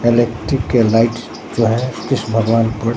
electric के light जो है कृष्ण बागवान पर--